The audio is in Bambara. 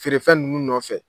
Feere fɛn ninnu nɔfɛ